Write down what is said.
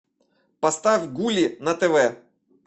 поставь гулли на тв